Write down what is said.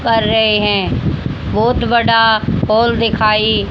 कर रहे हैं बोहोत बड़ा और हाल दिखाई--